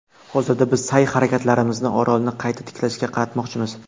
Hozirda biz sa’y-harakatlarimizni orolni qayta tiklashga qaratmoqchimiz”.